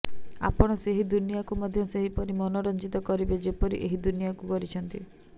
ଆପଣ ସେହି ଦୁନିଆକୁ ମଧ୍ୟ ସେହିପରି ମନୋରଞ୍ଜିତ କରିବେ ଯେପରି ଏହି ଦୁନିଆକୁ କରିଛନ୍ତି